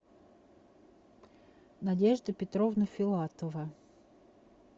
надежда петровна филатова